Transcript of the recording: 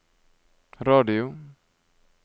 radio